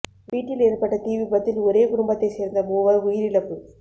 வீட்டில் ஏற்பட்ட தீ விபத்தில் ஒரே குடும்பத்தை சேர்ந்த மூவர் உயிரிழப்பு